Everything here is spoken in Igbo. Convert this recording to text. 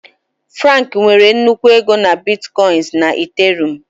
Frank nwere nnukwu ego na Bitkoinsị na Ethereum.